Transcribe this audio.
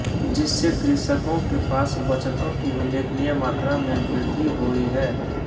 जिससे कृषकों के पास बचतों की उल्लेखनीय मात्रा में वृद्धि हुई है